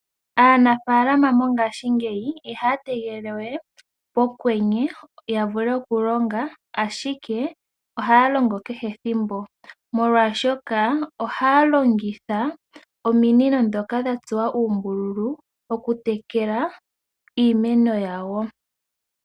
Aanafaalama mongaashingeyi ihaya tegelele we pokwenye, ya vule oku longa ashike ohaya longo kehe ethimbo, molwaashoka ohaya longitha ominino ndhoka dha tsuwa uumbululu, oku tekela iimeno yawo.